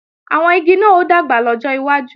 Àwọn igi náà ó dàgbà lọ́jọ́ iwájú